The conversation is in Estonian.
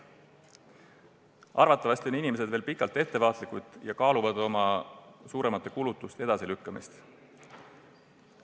Arvatavasti on inimesed veel pikka aega ettevaatlikud ja kaaluvad suuremate kulutuste edasilükkamist.